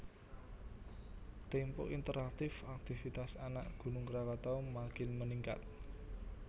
Tempo Interaktif Akitvitas Anak Gunung Krakatau Makin Meningkat